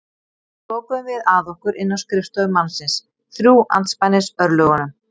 Svo lokuðum við að okkur inni á skrifstofu mannsins, þrjú andspænis örlögunum.